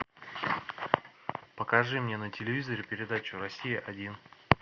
покажи мне на телевизоре передачу россия один